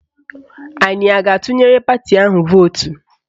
Anyị a ga-atụnyere pati ahụ vootu?